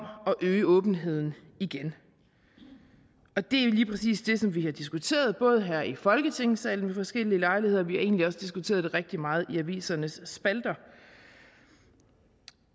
øge åbenheden igen og det er lige præcis det som vi har diskuteret både her i folketingssalen ved forskellige lejligheder og vi egentlig også diskuteret det rigtig meget i avisernes spalter i